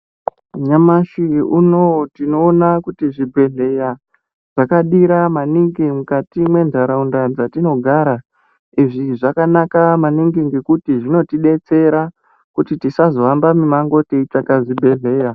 Nyamashi unouyu tinoona kuti zvibhedhleya zvakadira maningi mukati mwentaraunda dzetinogara. Izvi zvakanaka maningi ngekuti zvinotibetsera kuti tisazohamba mumango teitsvaka zvibhedhleya.